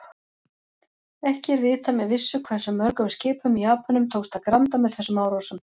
Ekki er vitað með vissu hversu mörgum skipum Japönum tókst að granda með þessum árásum.